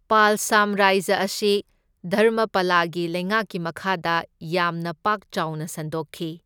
ꯄꯥꯜ ꯁꯥꯝꯔꯥꯖ꯭ꯌ ꯑꯁꯤ ꯙꯔꯃꯄꯥꯂꯥꯒꯤ ꯂꯩꯉꯥꯛꯀꯤ ꯃꯈꯥꯗ ꯌꯥꯝꯅ ꯄꯥꯛ ꯆꯥꯎꯅ ꯁꯟꯗꯣꯛꯈꯤ꯫